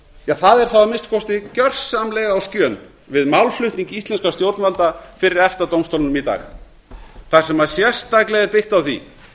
er þá að minnsta kosti gersamlega á skjön við málflutning íslenskra stjórnvalda fyrir efta dómstólnum í dag þar sem sérstaklega er byggt á því